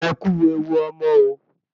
Ẹkú ewu ọmọ o